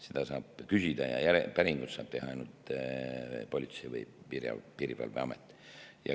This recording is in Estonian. Seda saab küsida ja päringuid saab teha ainult Politsei‑ ja Piirivalveamet.